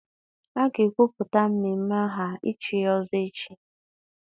A ga-ekwupụta mmemme aha ichi ọzọ echi